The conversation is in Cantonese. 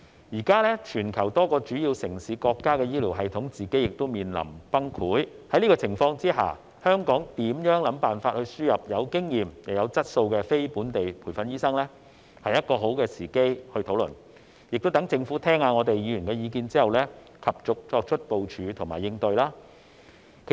現時全球多個主要城市和國家的醫療系統面臨崩潰，在這個情況下，現在是討論香港如何設法輸入有經驗又有質素的非本地培訓醫生的好時機，讓政府聆聽議員的意見之後，及早作出部署和應對。